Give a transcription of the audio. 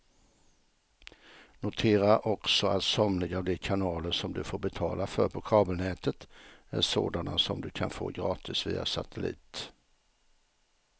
Notera också att somliga av de kanaler som du får betala för på kabelnätet är sådana som du kan få gratis via satellit.